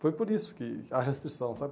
Foi por isso que a restrição, sabe?